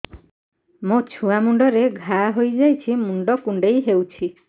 ମୋ ଛୁଆ ମୁଣ୍ଡରେ ଘାଆ ହୋଇଯାଇଛି ମୁଣ୍ଡ କୁଣ୍ଡେଇ ହେଉଛି